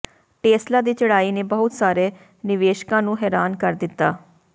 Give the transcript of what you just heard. Tesla ਦੀ ਚੜ੍ਹਾਈ ਨੇ ਬਹੁਤ ਸਾਰੇ ਨਿਵੇਸ਼ਕਾਂ ਨੂੰ ਹੈਰਾਨ ਕਰ ਦਿੱਤਾ